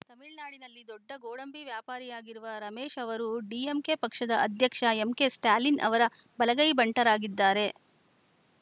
ತಮಿಳುನಾಡಿನಲ್ಲಿ ದೊಡ್ಡ ಗೋಡಂಬಿ ವ್ಯಾಪಾರಿಯಾಗಿರುವ ರಮೇಶ್‌ ಅವರು ಡಿಎಂಕೆ ಪಕ್ಷದ ಅಧ್ಯಕ್ಷ ಎಂಕೆಸ್ಟಾಲಿನ್‌ ಅವರ ಬಲಗೈ ಭಂಟರಾಗಿದ್ದಾರೆ